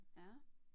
Ja